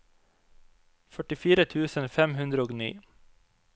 førtifire tusen fem hundre og ni